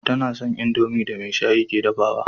Tana son indomie da maishai ke dafawa